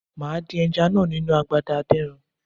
Màá dín ẹja náà nínu agbada adínran.